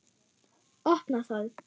Opna það.